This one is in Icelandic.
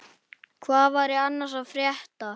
Hvað væri annars að frétta?